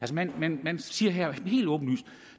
man man siger her helt åbenlyst at